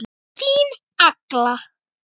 Þín Agla.